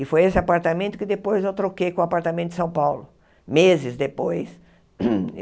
E foi esse apartamento que depois eu troquei com o apartamento de São Paulo, meses depois.